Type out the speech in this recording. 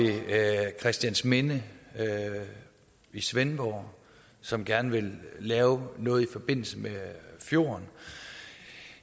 christiansminde i svendborg som gerne vil lave noget i forbindelse med fjorden